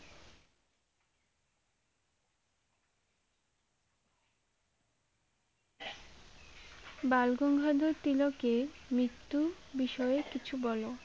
বালগঙ্গাধর তিলকের মৃত্যু বিষয়ে কিছু বলো